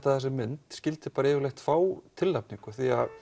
þessi mynd skyldi bara yfirleitt fá tilnefningu